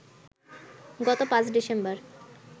গত ৫ ডিসেম্বর